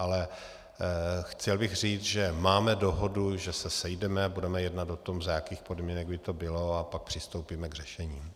Ale chtěl bych říct, že máme dohodu, že se sejdeme, budeme jednat o tom, za jakých podmínek by to bylo, a pak přistoupíme k řešení.